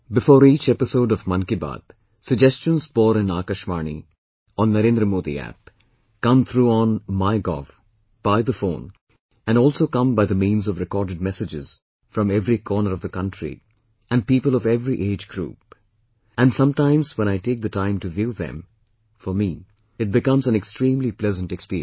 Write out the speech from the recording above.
Before each episode of 'Mann Ki Baat, 'suggestions pour in Aakashvani, on NarendraModiApp, come through on MyGov, by the phone and come by the means of recorded messages from every corner of the country and people of every age group, And sometimes when I take the time to view them, for me it becomes an extremely pleasant experience